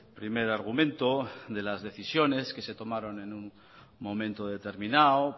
primer argumento de las decisiones que se tomaron en un momento determinado